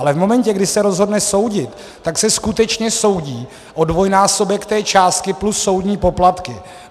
Ale v momentě, kdy se rozhodne soudit, tak se skutečně soudí o dvojnásobek té částky plus soudní poplatky.